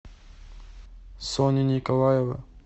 соня николаева